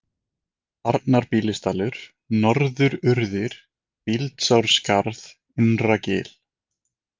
Arnarbýlisdalur, Norðururðir, Bíldsárskarð, Innragil